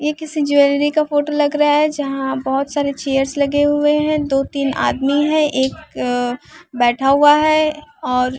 ये किसी ज्वेलरी का फोटो लग रहा है जहां बहोत सारे चेयर्स लगे हुए हैं दो तीन आदमी है एक बैठा हुआ है और--